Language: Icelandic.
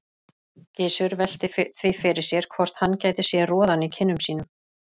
Gizur velti því fyrir sér hvort hann gæti séð roðann í kinnum sínum.